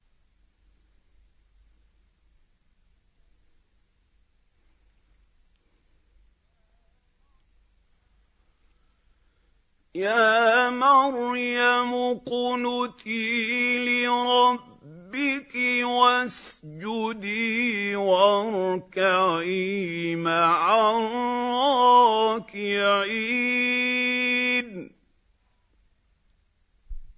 يَا مَرْيَمُ اقْنُتِي لِرَبِّكِ وَاسْجُدِي وَارْكَعِي مَعَ الرَّاكِعِينَ